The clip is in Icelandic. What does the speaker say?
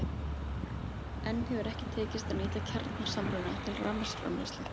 Enn hefur ekki tekist að nýta kjarnasamruna til rafmagnsframleiðslu.